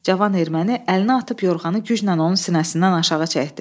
Cavan erməni əlinə atıb yorğanı güclə onun sinəsindən aşağı çəkdi.